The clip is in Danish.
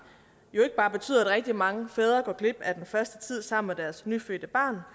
jo ikke bare betyder at rigtig mange fædre går glip af den første tid sammen med deres nyfødte barn